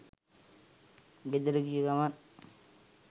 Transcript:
ගෙදර ගිය ගමන්